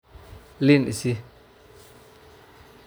liin isii.